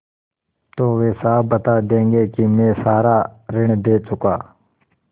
तो वे साफ बता देंगे कि मैं सारा ऋण दे चुका